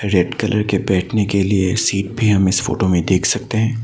Red colour के बैठने के लिए सीट भी हम इस फोटो में देख सकते हैं।